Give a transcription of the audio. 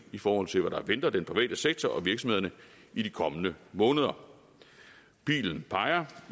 i forhold til hvad der venter den private sektor og virksomhederne i de kommende måneder pilen peger